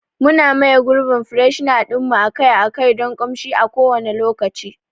Muna maye gurbin freshner ɗin mu akai-akai don ƙamshi a kowanne lokaci.